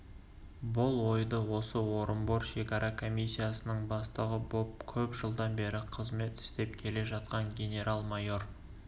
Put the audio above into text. бұл ойды осы орынбор шекара комиссиясының бастығы боп көп жылдан бері қызмет істеп келе жатқан генерал-майор